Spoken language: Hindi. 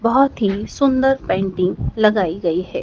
बहोत ही सुंदर पेंटिंग लगाई गई है।